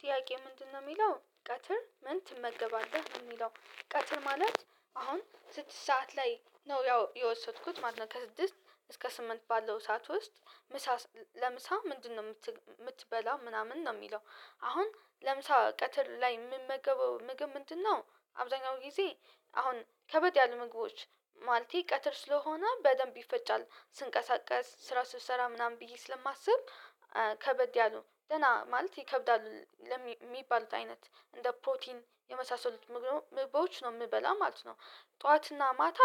ጥያቄ ምንድነው የሚለው ቀትር ምን ትመገባለህ ነው ሚለው ቀትር ማለት? አሁን ስድስት ሰዓት ላይ ነው ያው የወሰድኩት ማለት ነው። ከስድስት እስከ ስምንት ባለው ሰዓት ውስጥ ምሳ ለምሳ ምንድነው የምትበላው ምናምን ነው ሚለው? አሁን ለምሳ ቀትር ላይ የምመገበው ምግብ ምንድነው? አብዛኛው ጊዜ አሁን ከበድ ያሉ ምግቦች ማለቴ ቀትር ስለሆነ በደንብ ይፈጫል ስንቀሳቀስ ስራ ስሰራ ምናምን ብዬ ስለማስብ ከበድ ያለው ደህና ማለት ይከብዳል የሚባሉት አይነት እንደ ፕሮቲን የመሳሰሉት ምግባዎች ነው የምበላ ማለት ነው። ጠዋትና ማታ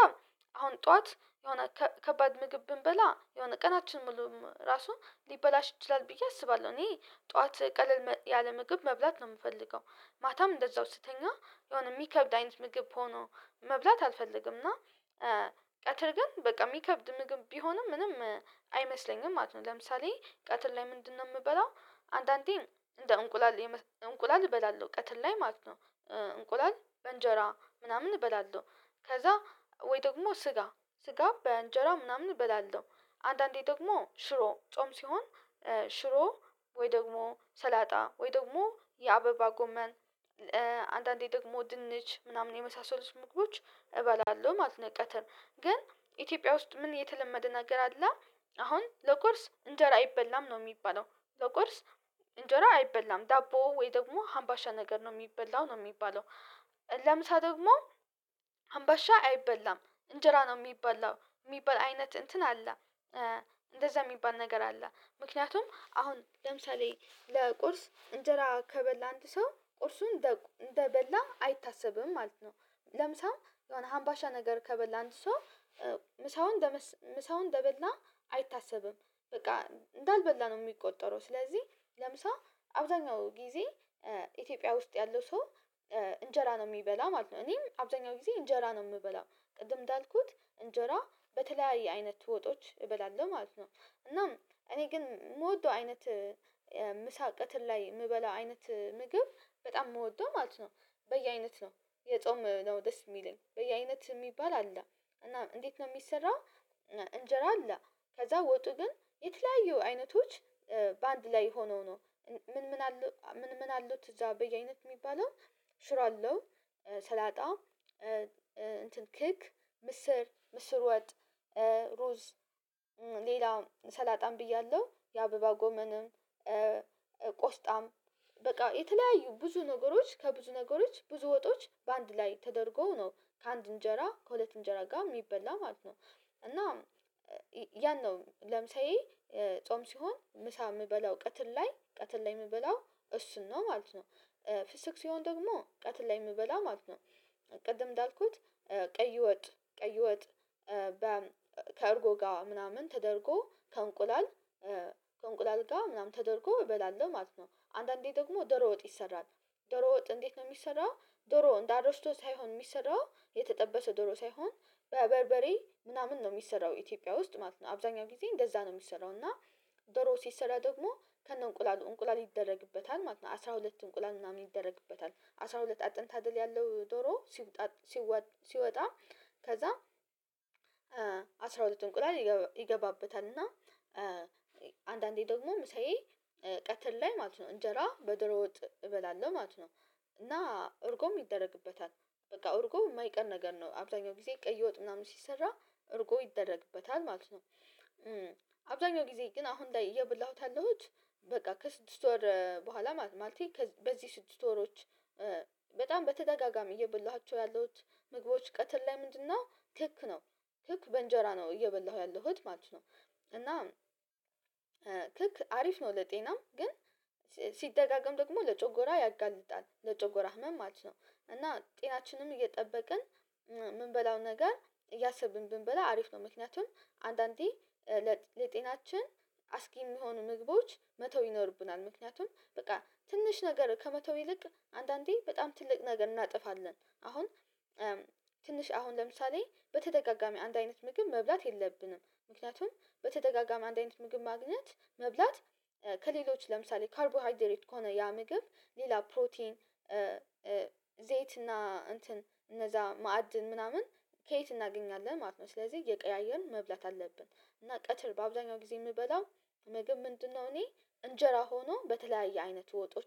አሁን ጠዋት የሆነ ከባድ ምግብ ብንበላ የሆነ ቀናችን ምሉም ራሱ ሊበላሽ ይችላል ብዬ አስባለሁ እኔ ጠዋት ቀለል ያለ ምግብ መብላት ነው የምፈልገው። ማታም እንደዛው ስትተኛ የሆነ የሚከብድ አይነት ምግብ ሆኖ መብላት አልፈልግም እና ቀትር ግን በቃ የሚከብድ ምግብ ቢሆንም ምንም አይመስለኝም ማለት ነው። ለምሳሌ ቀትር ላይ ምንድነው የምበላው? አንዳንዴ እንደ እንቁላል እንቁላል እበላለሁ ቀትር ላይ ማለት ነው። እንቁላል እንጀራ ምናምን እበላለሁ ከዛ ወይ ደግሞ ስጋ ስጋ በእንጀራ ምናምን እበላለሁ። አንዳንዴ ደግሞ ሽሮ ጾም ሲሆን ሽሮ ወይ ደግሞ ሰላጣ ወይ ደግሞ የአበባ ጎመን አንዳንዴ ደግሞ ድንች ምናምን የመሳሰሉት ምግቦች እባላለሁ ማለት ነው። ቀትር ግን ኢትዮጵያ ውስጥ ምን የተለመደ ነገር አለ? አሁን ለቁርስ እንጀራ አይበላም ነው የሚባለው ለቁርስ እንጀራ አይበላም ዳቦ ወይ ደግሞ ሀምባሻ ነገር ነው የሚበላው ነው። የሚባለው ለምሳ ደግሞ ሀምባሻ አይበላም እንጀራ ነው የሚበላው የሚባል አይነት እንትን አለ። እንደዛ የሚባል ነገር አለ ምክንያቱም አሁን ለምሳሌ ለቁርስ እንጀራ ከበላ አንድ ሰው ቁርሱን እንደበላ አይታሰብም ማለት ነው። ለምሳም የሆነ ሀምባሻ ነገር ከበላ አንድ ሰው ምሳውን ምሳውን እንደበላ አይታሰብም። በቃ እንዳልበላ ነው የሚቆጠረው ስለዚህ ለምሳ አብዛኛው ጊዜ ኢትዮጵያ ውስጥ ያለው ሰው እንጀራ ነው የሚበላ ማለት ነው። እኔም አብዛኛውን ጊዜ እንጀራ ነው የምበላው ቅድም እንዳልኩት እንጀራ በተለያየ አይነት ወጦች እበላለሁ ማለት ነው። እናም እኔ ግን የምወደው አይነት ምሳ ቀትር ላይ የምበላው አይነት ምግብ በጣም ምወደው ማለት ነው። በየአይነት ነው የጾም ነው ደስ የሚለኝ በየ አይነት የሚባል አለ። እና እንዴት ነው የሚሰራ? እንጀራ አለ ከዛ ወጡ ግን የተለያዩ አይነቶች በአንድ ላይ ሆነው ነው ምን ምን አሉ ምን ምን አሉት እዛ በየ አይነት የሚባለው ሽሮ አለው። ሰላጣ እንትን ክክ ምስር ምስር ወጥ ሩዝ ሌላ ሰላጣም ብያለሁ የአበባ ጎመንም ቆስጣም በቃ የተለያዩ ብዙ ነገሮች ከብዙ ነገሮች ብዙ ወጦች በአንድ ላይ ተደርጎ ነው ከአንድ እንጀራ ከሁለት እንጀራ ጋር የሚበላ ማለት ነው። እና ያን ነው ለምሳዬ ጾም ሲሆን ምሳ የምበላው ቀትር ላይ ቀትር ላይ የምበላው እሱን ነው ማለት ነው። ፍስክ ሲሆን ደግሞ ቀትር ላይ የምበላው ማለት ነው። ቅድም እንዳልኩት ቀይ ወጥ ቀይ ወጥ በ ከእርጎ ጋር ምናምን ተደርጎ ከእንቁላል ከእንቁላል ጋ ምናምን ተደርጎ እበላለሁ ማለት ነው። አንዳንዴ ደግሞ ደሮ ወጥ ይሰራል ደሮ ወጥ እንዴት ነው የሚሰራው? ዶሮው እንደ አሮስቶ ሳይሆን የሚሰራው የተጠበሰ ዶሮ ሳይሆን በበርበሬ ምናምን ነው የሚሰራው ኢትዮጵያ ውስጥ ማለት ነው አብዛኛው ጊዜ እንደዛ ነው የሚሰራው እና ዶሮ ሲሰራ ደግሞ ከነ እንቁላሉ እንቁላል ይደረግበታል ማለት ነው። አስራ ሁለት እንቁላል ምናምን ይደረግበታል አስራ ሁለት አጥንት አድል ያለው ዶሮ ሲወጣ ከዛ አስራ ሁለት እንቁላል ይገባበታል እና አንዳንዴ ደግሞ ምሳዬ ቀትር ላይ ማለት ነው እንጀራ በደሮ ወጥ እበላለሁ ማለት ነው። እና እርጎም ይደረግበታል በቃ እርጎ የማይቀር ነገር ነው አብዛኛው ጊዜ ቀይ ወጥ ምናምን ሲሰራ እርጎ ይደረግበታል ማለት ነው። አብዛኛው ጊዜ ግን አሁን ላይ እየበላሁት ያለሁት በቃ ከስድስት ወር በኋላ ማለት ነው ማለቴ በዚህ ስድስት ወሮች በጣም በተደጋጋሚ እየበላኋቸው ያለሁት ምግቦች ቀትር ላይ ምንድነው ከክ ነው? ክክ በእንጀራ ነው እየበላሁ ያለሁት ማለት ነው። እና ክክ አሪፍ ነው ለጤናም ግን ሲደጋገም ደግሞ ለጮጎራ ያጋልጣል ለጮጎራ ህመም ማለት ነው። እና ጤናችንም እየጠበቅን ምንበላው ነገር እያሰብን ብንበላ አሪፍ ነው። ምክንያቱም አንዳንዴ ለጤናችን አስጊ የሚሆኑ ምግቦች መተው ይኖርብናል ምክንያቱም በቃ ትንሽ ነገር ከመተው ይልቅ አንዳንዴ በጣም ትልቅ ነገር እናጠፋለን። አሁን ትንሽ አሁን ለምሳሌ በተደጋጋሚ አንድ አይነት ምግብ መብላት የለብንም ምክንያቱም በተደጋጋሚ አንድ አይነት ምግብ ማግኘት መብላት ከሌሎች ለምሳሌ ካርቦሃይድሬት ከሆነ ያ ምግብ ሌላ ፕሮቲን ዘይት እና እንትን እነዛ ማዕድን ምናምን ከየት እናገኛለን ማለት ነው። ስለዚህ እየቀያየርን መብላት አለብን እና ቀትር በአብዛኛው ጊዜ የምበላው። ሞግብ ምንድነው እኔ እንጀራ ሆኖ በተለያየ አይነት ወጦች